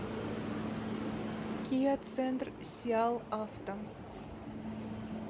киа центр сиалавто